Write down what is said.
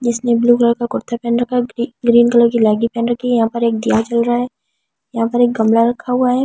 इसने blue colour का कुर्ता पहन रखा है ग्रीन कलर की लेंगी पहन रखी है यहां पर एक दिया जल रहा है यहां पर एक गमला रखा हुआ है।